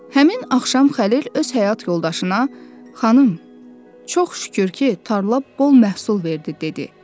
Həmin axşam Xəlil öz həyat yoldaşına: “Xanım, çox şükür ki, tarla bol məhsul verdi” dedi.